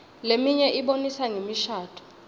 leminye ibonisa ngemishadvo